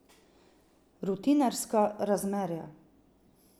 Rutinerska razmerja.